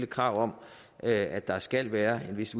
krav om at der skal være en vis